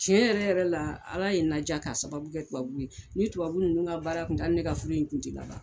Tiɲɛ yɛrɛ yɛrɛ la ala ye na diya k'a sababu kɛ tubabuw ye. Ni tubabu ninnu ka baara in kun tɛ hali ne ka furu in kun ti laban.